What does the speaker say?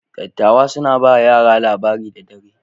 Dattawa suna ba yara labari da dare.